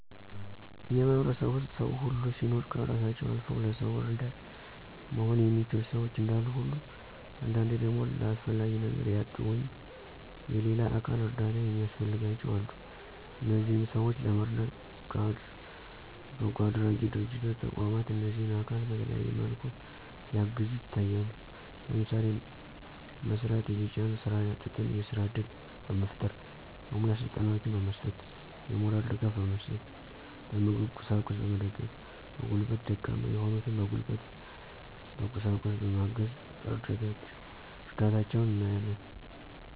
በእኛ ማህበረሰብ ዉስጥ ሰዉ ሁሉ ሲኖር ከእራሳቸዉ አልዉ ለሰዉ እረዳት መሆን የሚችሉ ሸዎች እንዳሉ ሁሉ አንዳንዴ ደግሞ ለአስፈላጊ ነገር ያጡ ወይም <የሌላ አካል እርዳታ የሚያስፈልጋቸዉ>አሉ። እነዚህንም ሰዎች ለመርዳት በጎአድራጊ ድርጅቶች ተቋማት እነዚህን አካል በተለያየ መልኩ ሲያግዙ ይታያሉ። ለምሳሌ፦ መስራት እየቻሉ ስራ ያጡትን የስራ እድል በመፍጠር፣ የሙያ ስልጠናወችን በመስጠት፣ የሞራል ድጋፍ በመስጠት፣ በምግብ ቁሳቁስ በመገደፍ፣ በጉልበት ደካማ የሆኑትን በጉልበት በቁሳቁስ በማገዝ እርዳታቸዉን እናያለን።